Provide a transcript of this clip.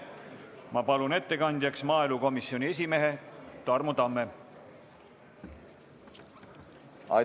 Ma palun ettekandjaks maaelukomisjoni esimehe Tarmo Tamme!